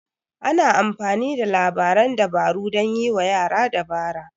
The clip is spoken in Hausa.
Ana amfani da labaran dabaru dan yiwa yara dabara.